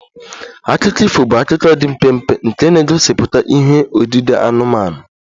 Akụkọ ifo bụ akụkọ dị mpempe nke na-egosipụta ihe odide anụmanụ